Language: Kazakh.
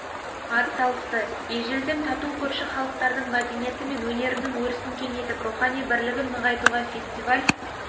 ат салысты ежелден тату көрші халықтардың мәдениеті мен өнерінің өрісін кеңейтіп рухани бірлігін нығайтуға фестиваль